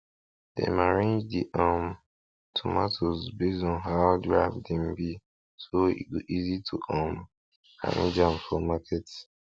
dem arrange de um tomatoes based on how ripe dem be so e go easy to um arrange am for market